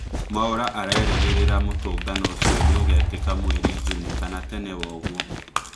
Mwaura arerĩgĩrĩra mũtũngano ũcio nĩũgekĩka mweri Juni kana tene woguo